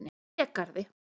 Hlégarði